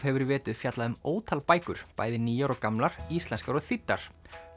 hefur í vetur fjallað um ótal bækur bæði nýjar og gamlar íslenskar og þýddar